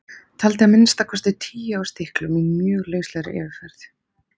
Taldi að minnsta kosti tíu á stilkum í mjög lauslegri yfirferð.